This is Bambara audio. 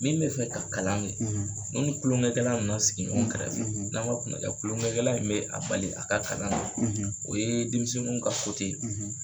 Min bɛ fɛ ka kalan kɛ n'u ni kulonkɛ kɛla na na sigi ɲɔgɔn kɛrɛfɛ n'a man kunnanja kulonkɛ kɛla in bɛ a bali a ka kalan na o ye denmisɛnniw ka ye.